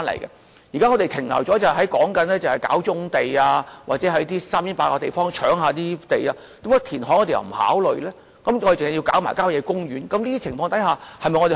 現時我們是停留在"搞棕地"或在偏遠地方"搶地"的情況，政府為何不考慮填海，而要"搶"郊野公園的土地？